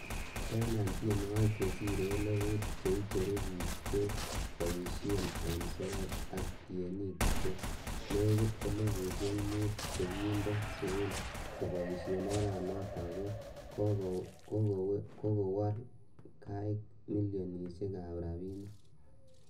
Kobaten en tienwogik che sire elifut che icheru bik cheboishen en soet, ak tienik che nekit eifusiek mut chekinde sein koboishen oranoton, koni kowole koik milionisiek ab rabinik.